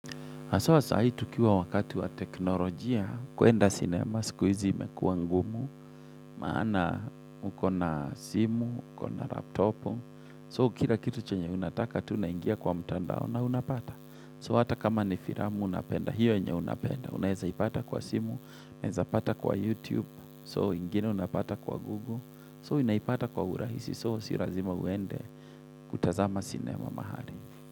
Haswa sahi tukiwa wakati wa teknolojia, kwenda sinema, siku hizi imekua ngumu, maana uko na simu, uko na laptopu, so kira kitu chenye unataka, tu naingia kwa mtandao na unapata. So hata kama ni firamu unapenda, hiyo enya unapenda, unaeza ipata kwa simu, unaeza pata kwa YouTube, so ingine unapata kwa Google, so inaipata kwa urahisi, so sirazima uende kutazama sinema mahali.